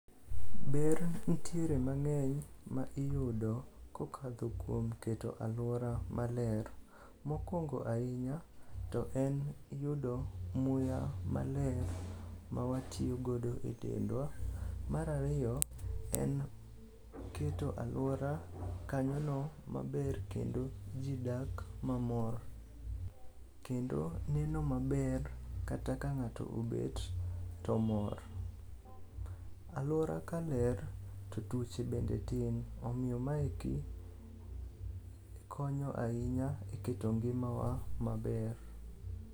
Ber ntiere mang'eny ma iyudo kokadho kuom keto alwora maler. Mokwongo ahinya to en yudo muya maler mawatiyogodo e dendwa. Mar ariyo, en keto alwora kanyono maber kendo ji dak mamor kendo neno maber kata ka ng'ato obet to mor. Alwora ka ler to tuoche bende tin, omiyo maeki konyo ahinya e keto ngimawa maber.